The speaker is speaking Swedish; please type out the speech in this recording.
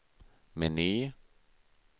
meny